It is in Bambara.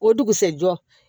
O dugusajɛ